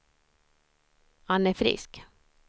Anne Frisk